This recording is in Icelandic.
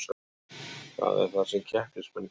Það er það sem keppnismenn gera